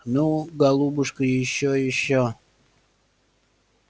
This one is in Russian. ну голубушка ещё ещё